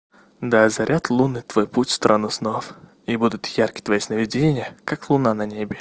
да заряд лунный твой путь в страну снов и будут яркие твои сновидения как луна на небе